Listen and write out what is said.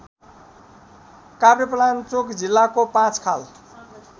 काभ्रेपलाञ्चोक जिल्लाको पाँचखाल